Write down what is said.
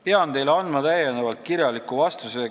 Pean teile täiendavalt kirjaliku vastuse andma.